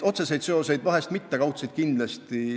Otseseid seoseid vahest mitte, kaudseid kindlasti.